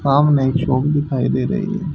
सामने चौक दिखाई दे रही है।